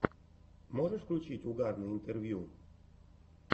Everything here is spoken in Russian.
можешь включить угарные интервью